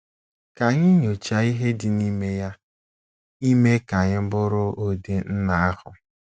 Ka anyị nyochaa ihe dị n'ime ya ime ka anyị bụrụ ụdị nna ahụ.